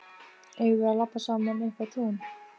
Eigum við að labba saman upp á tún?